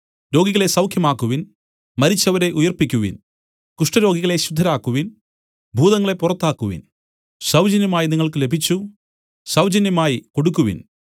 രോഗികളെ സൌഖ്യമാക്കുവിൻ മരിച്ചവരെ ഉയിർപ്പിക്കുവിൻ കുഷ്ഠരോഗികളെ ശുദ്ധരാക്കുവിൻ ഭൂതങ്ങളെ പുറത്താക്കുവിൻ സൌജന്യമായി നിങ്ങൾക്ക് ലഭിച്ചു സൌജന്യമായി കൊടുക്കുവിൻ